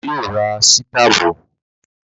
Bàbá yóò ra sítàbù